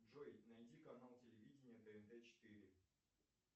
джой найди канал телевидения тнт четыре